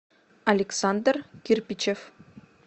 александр кирпичев